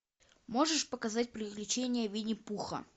можешь показать приключения винни пуха